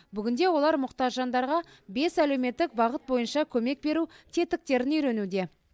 бүгінде олар мұқтаж жандарға бес әлеуметтік бағыт бойынша көмек беру тетіктерін үйренуде